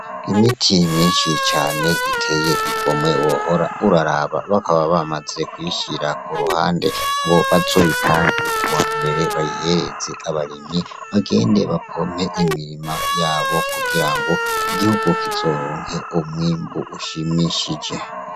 Imiti myinshi cane iteye igomwe wahora uraraba ,bakaba bamaze kuyishira kuruhande, ngo bazoyitange kuwambere bayihereze abarimyi, bagende bapompe imirima yabo kugirango igihugu kizoronke umwimbu ushimishije